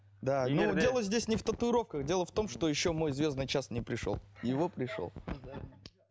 дело здесь не в татуировках дело в том что еще мой звездный час не пришел его пришел